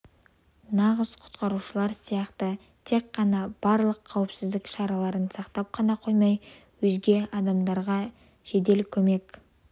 нағыз құтқарушылар сияқты тек қана барлық қауіпсіздік шараларын сақтап қана қоймай өзге адамдарға жедел көмек